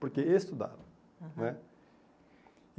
Porque estudaram, aham, né?